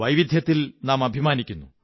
വൈവിധ്യത്തിൽ നാം അഭിമാനിക്കുന്നു